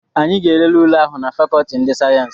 Anyị ga-elele ule ahụ na fakọọti ndị sayensị.